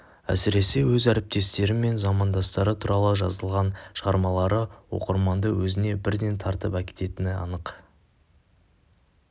әсіресе өз әріптестері мен замандастары туралы жазылған шығармалары оқырманды өзіне бірден тартып әкететіні анық